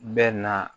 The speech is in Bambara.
Bɛ na